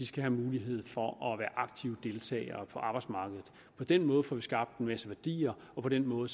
skal have mulighed for at være aktive deltagere på arbejdsmarkedet på den måde får vi skabt en masse værdier og på den måde